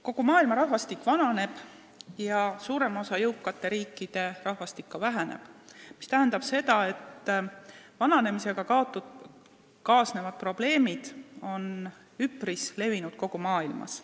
Kogu maailma rahvastik vananeb ja suurema osa jõukate riikide rahvastik ka väheneb, mis tähendab seda, et vananemisega kaasnevad probleemid on üpris levinud kogu maailmas.